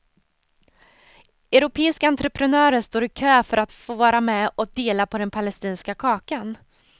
Europeiska entreprenörer står i kö för att få vara med och dela på den palestinska kakan.